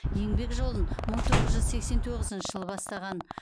еңбек жолын мың тоғыз жүз сексен тоғызыншы жылы бастаған